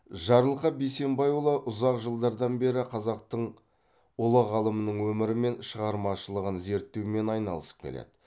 жарылқап бейсенбайұлы ұзақ жылдардан бері қазақтың ұлы ғалымының өмірі мен шығармашылығын зерттеумен айналысып келеді